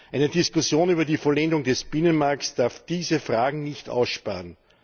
Eine Diskussion über die Vollendung des Binnenmarkts darf diese Fragen nicht aussparen.